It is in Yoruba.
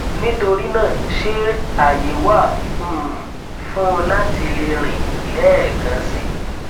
nitorina ṣe aye wa um fun lati le rin lẹẹkan si